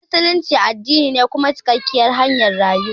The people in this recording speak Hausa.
Musulunci addini ne kuma cikakkiyar hanyar rayuwa.